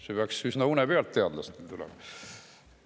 Seda peaks teadlased üsna une pealt öelda oskama.